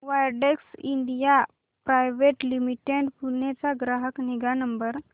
Widex India private limited Pune चा ग्राहक निगा नंबर